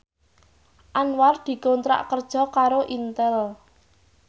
Anwar dikontrak kerja karo Intel